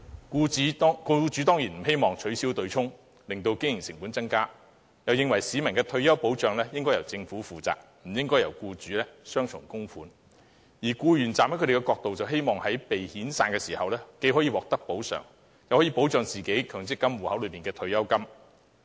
僱主當然不希望取消對沖機制，令經營成本增加，他們又認為市民的退休保障應該由政府負責，僱主不應繳付雙重供款，而僱員站在他們的角度，則希望被遣散時既可以獲得補償，又可以保住強積金戶口內的退休金。